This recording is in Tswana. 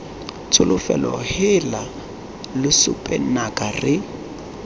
tsholofelo heela lesope nnaka re